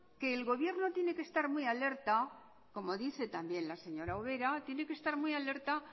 que el gobierno tiene que estar muy alerta como dice también la señora ubera tiene que estar muy alerta